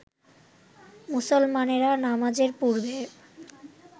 মুসলমানেরা নামাজের পূর্বে